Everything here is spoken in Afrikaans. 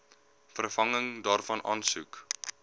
vervanging daarvan aansoek